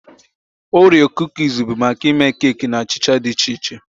Oreo Kuukis bụ maka ịme keeki na achịcha dị iche iche